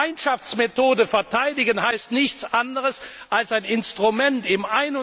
Die Gemeinschaftsmethode verteidigen heißt nichts anders, als ein Instrument im